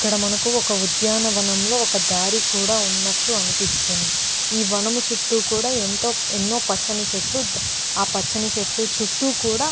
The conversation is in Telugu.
ఇక్కడ మనకు ఒక ఉద్యానవనం లో ఒక దారి కూడా ఉన్నట్లు అనిపిస్తుంది ఈ వనం చుట్టూ కూడా ఎంతో ఎన్నో పచ్చని చెట్లు ద్ అ పచ్చని చెట్లు చుట్టూ కూడా --